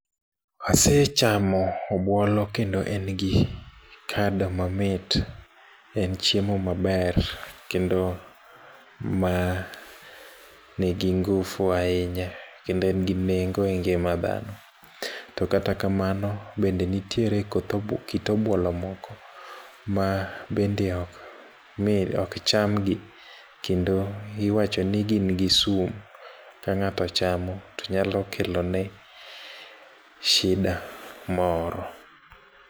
Asechamo obuolo kendo en gi kado mamit . En chiemo maber kendo ma nigi ngufu ahinya kendo en gi nengo e ngima dhano. To kata kamano to bende nitiere koth obuo kit obuolo mok ma bende ok mi ok cham gi kendo iwacho ni gin gi sum. Ka ng'ato ochamo to nyalo kelo ne shida moro.